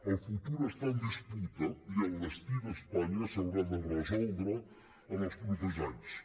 el futur està en disputa i el destí d’espanya s’haurà de resoldre en els propers anys